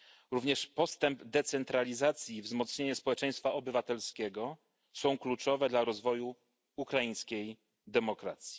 Również postęp decentralizacji i wzmocnienie społeczeństwa obywatelskiego są kluczowe dla rozwoju ukraińskiej demokracji.